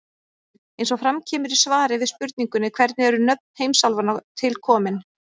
Eins og fram kemur í svari við spurningunni Hvernig eru nöfn heimsálfanna til komin?